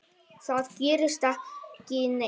Það gerist ekki neitt.